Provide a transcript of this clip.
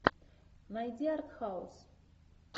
найди артхаус